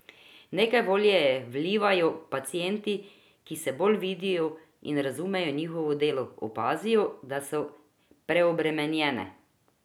Nekaj volje ji vlivajo pacienti, ki vse bolj vidijo in razumejo njihovo delo, opazijo, da so preobremenjene.